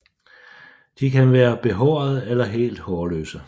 De kan være behårede eller helt hårløse